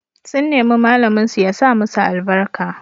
Sun nemi malaminsu ya sa musu albarka.